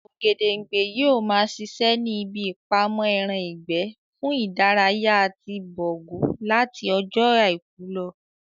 Ògèdèngbé yóò ma ṣiṣẹ́ ní ibi ìpamọ́ ẹran ìgbẹ́ fún ìdárayá ti Bọ̀rgú láti ọjọ́ àìkú lọ